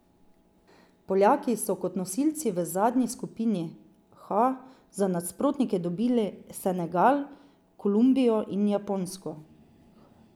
Poljaki so kot nosilci v zadnji skupini H za nasprotnike dobili Senegal, Kolumbijo in Japonsko.